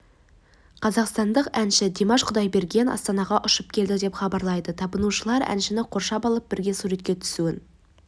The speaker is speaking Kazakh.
қазақстандық әнші димаш құдайберген астанаға ұшып келді деп хабарлайды табынушылар әншіні қоршап алып бірге суретке түсуін